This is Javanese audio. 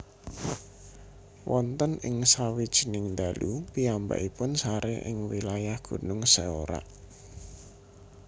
Wonten ing sawijining dalu piyambakipun saré ing wilayah Gunung Seorak